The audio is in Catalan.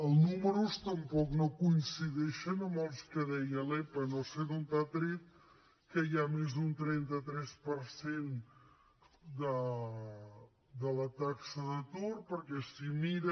els números tampoc no coincideixen amb els que deia l’epa no sé d’on ha tret que hi ha més d’un trenta tres per cent de la taxa d’atur perquè si mira